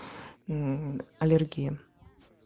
аллергия